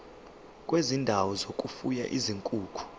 kwezindawo zokufuya izinkukhu